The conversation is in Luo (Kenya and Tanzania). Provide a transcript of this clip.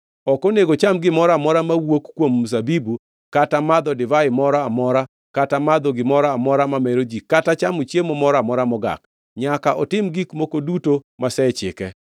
Ok onego ocham gimoro amora mowuok kuom mzabibu, kata madho divai moro amora kata madho gimoro amora mamero ji kata chamo chiemo moro amora mogak. Nyaka otim gik moko duto masechike.”